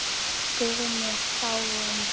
Guðni er dáinn.